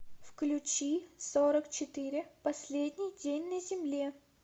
включи сорок четыре последний день на земле